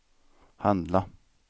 handla